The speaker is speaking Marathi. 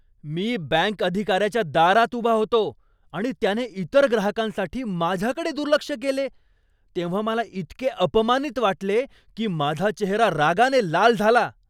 मी बँक अधिकाऱ्याच्या दारात उभा होतो आणि त्याने इतर ग्राहकांसाठी माझ्याकडे दुर्लक्ष केले तेव्हा मला इतके अपमानित वाटले की माझा चेहरा रागाने लाल झाला.